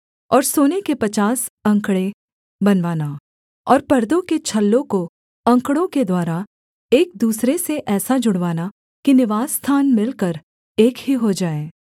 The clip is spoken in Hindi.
और सोने के पचास अंकड़े बनवाना और परदों के छल्लों को अंकड़ों के द्वारा एक दूसरे से ऐसा जुड़वाना कि निवासस्थान मिलकर एक ही हो जाए